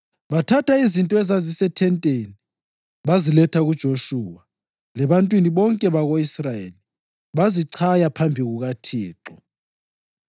Bathatha izinto ezazisethenteni, baziletha kuJoshuwa lebantwini bonke bako-Israyeli, bazichaya phambi kukaThixo.